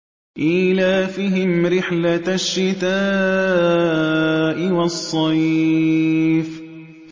إِيلَافِهِمْ رِحْلَةَ الشِّتَاءِ وَالصَّيْفِ